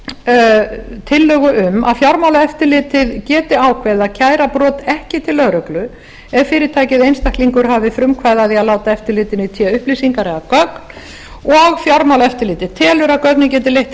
varðar tillögu um til að fjármálaeftirlitið geti ákveðið að kæra brot ekki til lögreglu ef fyrirtæki eða einstaklingur hafi frumkvæði að því að láta eftirlitinu í té upplýsingar eða gögn og fjármálaeftirlitið telur að gögnin geti leitt til